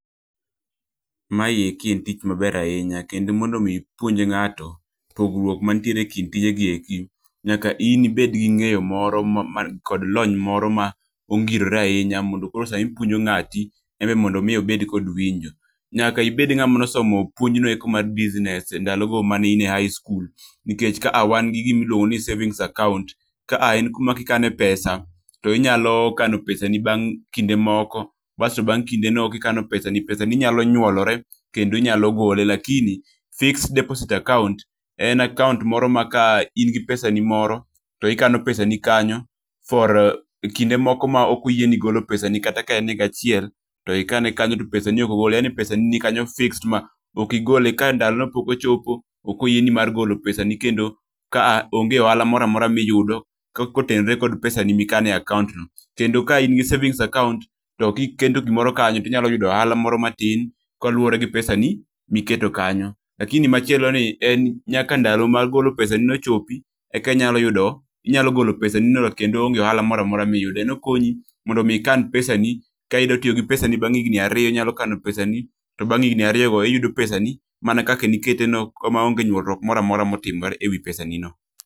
Maiyeki en tich maber ahinya kendo mondo omi ipuonj ng'ato, pogruok mantie e kind tije gi eki, nyaka in ibed gi ng'eyo moro kod lony moro ma ongirore ahinya mondo koro sami ipuonjo ng'ati, embe mondo omi obed kod winjo. Nyaka ibed ng'ama nosomo puonj no eko mar business e ndalogo mane in e high school nikech ka a wan gi gimiluongo ni savings account ka a en kuma kikane e pesa, to inyalo kano pesani bang' kinde moko basto bang' kindeno kikano pesani, pesani nyalo nywolore kendo inyalo gole lakini, fixed deposit account en akaont moro ma ka in gi pesani moro, to ikano pesani kanyo, for e kinde moko ma okoyieni golo pesani kata ka en iga achiel, to ikane kanyo to pesani ok ogol. yaani pesani nikanyo fixed ma ok igole ka ndalono pok ochopo, ok oyieni mar golo pesani kendo ka a onge ohala mora amora miyudo ko kotenore kodpesani mikane e akaont no. Kendo ka in gi savings account, to kiketo gimoro kanyo tinyalo yudo ohala moro matin kaluwore gi pesani miketo kanyo. lakini machielo ni en nyaka ndalo mar golo pesanino chopi, eka inyalo yudo, inyalo golo pesanino kendo one ohala mora amora miyude en okonyi mondo mi ikan pesani, ka idwa tiyo gi pesani bang' igni ariyo inyalo kano pesani to bang' igni ariyogo iyudo pesani mana kaka nikete no maonge nywolruok mora amora motimore ewi pesani no